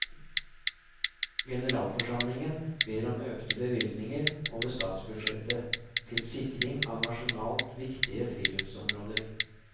Generalforsamlingen ber om økte bevilgninger over statsbudsjettet til sikring av nasjonalt viktige friluftsområder.